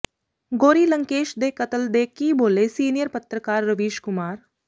ਗੌਰੀ ਲੰਕੇਸ਼ ਦੇ ਕਤਲ ਦੇ ਕੀ ਬੋਲੇ ਸੀਨੀਅਰ ਪੱਤਰਕਾਰ ਰਵੀਸ਼ ਕੁਮਾਰ